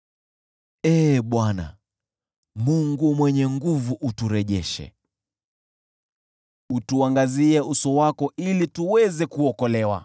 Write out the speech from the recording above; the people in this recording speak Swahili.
Ee Bwana Mungu Mwenye Nguvu Zote, uturejeshe; utuangazie uso wako, ili tuweze kuokolewa.